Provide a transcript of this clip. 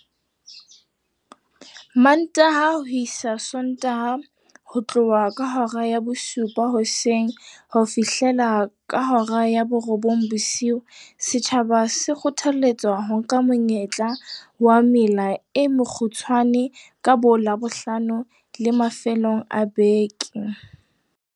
Mantaha ho isa Sontaha ho tloha ka hora ya bosupa hoseng ho fihlela ka hora ya borobong bosiu, setjhaba se kgothaletswa ho nka monyetla wa mela e mekgutshwane ka boLabohlano le mafelong a beke.